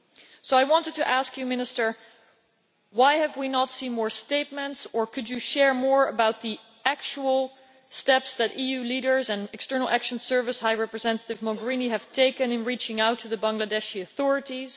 So I wanted to ask you, Minister, why we have not seen more statements, or could you share more about the actual steps that EU leaders and the External Action Service and High Representative Mogherini have taken in reaching out to the Bangladeshi authorities?